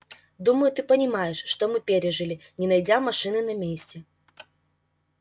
думаю ты понимаешь что мы пережили не найдя машины на месте